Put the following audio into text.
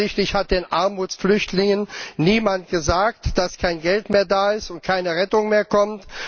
Offensichtlich hat den Armutsflüchtlingen niemand gesagt, dass kein Geld mehr da ist und keine Rettung mehr kommt.